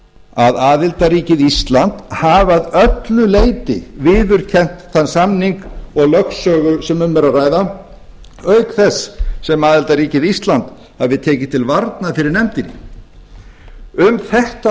að aðildarríkið ísland hafi að öllu leyti viðurkennt þann samning og lögsögu sem um er að ræða auk þess sem aðildarríkið ísland hafi tekið til varnar fyrir nefndinni um þetta